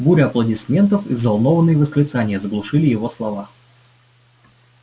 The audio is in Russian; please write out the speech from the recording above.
буря аплодисментов и взволнованные восклицания заглушили его слова